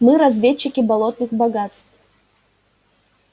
мы разведчики болотных богатств